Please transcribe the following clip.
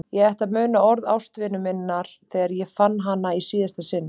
Ég ætti að muna orð ástvinu minnar þegar ég fann hana í síðasta sinn.